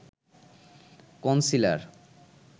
concealer